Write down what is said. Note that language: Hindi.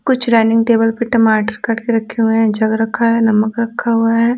कुछ डाइनिंग टेबल पर टमाटर काट के रखे हुए हैं जग रखा है नमक रखा हुआ है।